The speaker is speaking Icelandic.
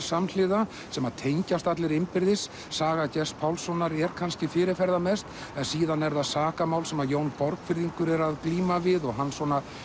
samhliða sem tengjast allir innbyrðis saga Gests Pálssonar er kannski fyrirferðarmest en síðan er það sakamál sem Jón Borgfirðingur er að glíma við og hans